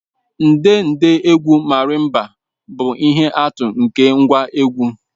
Ndedegwu Marimba bụ ihe atụ nke ngwá egwú